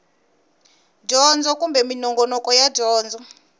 dyondzo kumbe minongonoko ya dyondzo